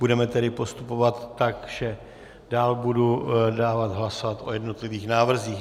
Budeme tedy postupovat tak, že dál budu dávat hlasovat o jednotlivých návrzích.